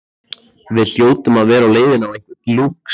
Við hljótum að vera á leiðinni á einhvern lúx